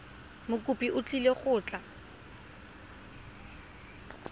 mokopi o tlile go tla